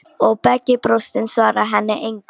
Og Beggi brosir, en svarar henni engu.